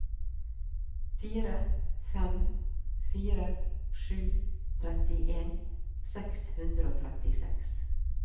fire fem fire sju trettien seks hundre og trettiseks